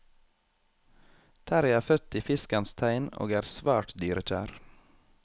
Terrie er født i fiskens tegn og er svært dyrekjær.